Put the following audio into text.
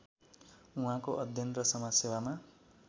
उहाँको अध्ययन र समाजसेवामा